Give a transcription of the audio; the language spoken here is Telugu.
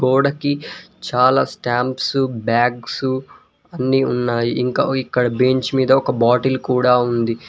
గోడకి చాలా స్టాంప్సు బ్యాగ్సు అన్ని ఉన్నాయి ఇంకా ఇక్కడ బెంచ్ మీద ఒక బాటిల్ కూడా ఉంది.